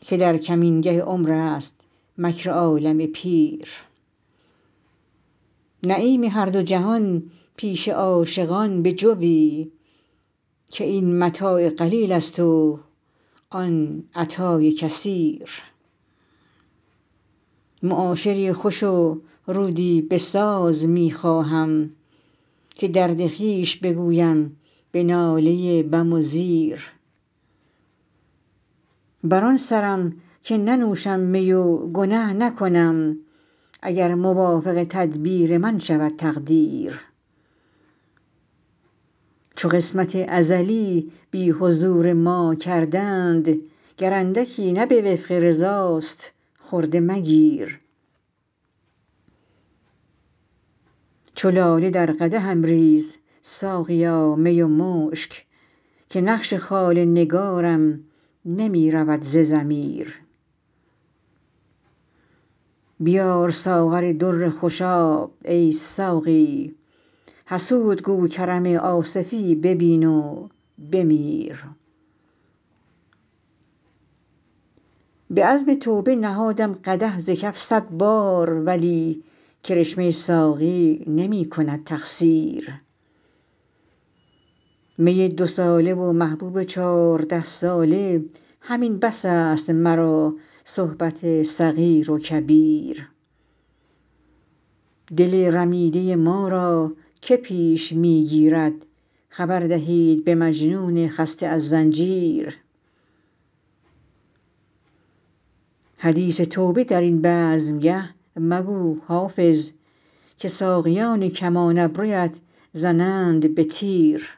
که در کمینگه عمر است مکر عالم پیر نعیم هر دو جهان پیش عاشقان بجوی که این متاع قلیل است و آن عطای کثیر معاشری خوش و رودی بساز می خواهم که درد خویش بگویم به ناله بم و زیر بر آن سرم که ننوشم می و گنه نکنم اگر موافق تدبیر من شود تقدیر چو قسمت ازلی بی حضور ما کردند گر اندکی نه به وفق رضاست خرده مگیر چو لاله در قدحم ریز ساقیا می و مشک که نقش خال نگارم نمی رود ز ضمیر بیار ساغر در خوشاب ای ساقی حسود گو کرم آصفی ببین و بمیر به عزم توبه نهادم قدح ز کف صد بار ولی کرشمه ساقی نمی کند تقصیر می دوساله و محبوب چارده ساله همین بس است مرا صحبت صغیر و کبیر دل رمیده ما را که پیش می گیرد خبر دهید به مجنون خسته از زنجیر حدیث توبه در این بزمگه مگو حافظ که ساقیان کمان ابرویت زنند به تیر